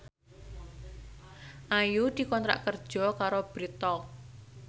Ayu dikontrak kerja karo Bread Talk